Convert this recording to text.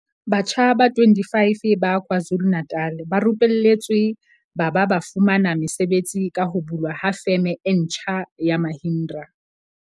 Batjha ba 25 ba KwaZulu-Natal ba rupelletswe ba ba ba fumana mesebetsi ka ho bulwa ha Feme e ntjha ya Mahindra.